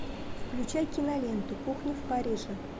включай киноленту кухня в париже